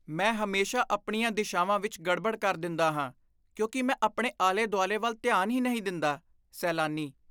ਮੈਂ ਹਮੇਸ਼ਾ ਆਪਣੀਆਂ ਦਿਸ਼ਾਵਾਂ ਵਿੱਚ ਗੜਬੜ ਕਰ ਦਿੰਦਾ ਹਾਂ ਕਿਉਂਕਿ ਮੈਂ ਆਪਣੇ ਆਲੇ ਦੁਆਲੇ ਵੱਲ ਧਿਆਨ ਹੀ ਨਹੀਂ ਦਿੰਦਾ ਸੈਲਾਨੀ